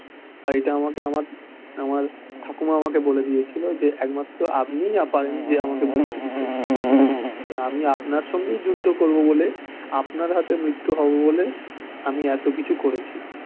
আর এটা আমাকে আমার আমার ঠাকুমা আমাকে বলে দিয়েছিলো যে একমাত্র আপনিই পারেন যে আমাকে মুক্তি দিতে তা আমি আপনার সঙ্গেই যুদ্ধ করবো বোলে আপনার হাতে মৃত্যু হবো বলে আমি এতো কিছু করেছি